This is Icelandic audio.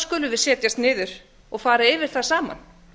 skulum við setjast niður og fara yfir það saman